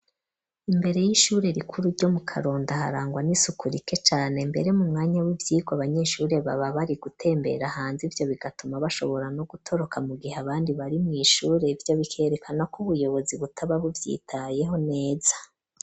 Imbere y'ishure rikuru ryo mu Karonda harangwa n'isuku rike cane mbere mu mwanya w'ivyigwa abanyeshure baba bari gutembera hanze ivyo bigatuma bashobora no gutoroka mu gihe abandi bari mu ishure ibyo bikerekana ko ubuyobozi butababu vyitayeho neza.